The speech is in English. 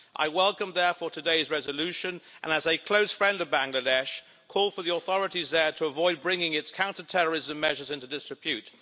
I welcome therefore today's resolution and, as a close friend of Bangladesh, call for the authorities there to avoid bringing its counterterrorism measures into disrepute.